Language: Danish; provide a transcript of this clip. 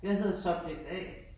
Jeg hedder subject A